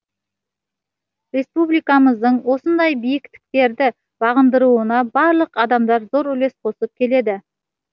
республикамыздың осындай биіктіктерді бағындыруына барлық адамдар зор үлес қосып келеді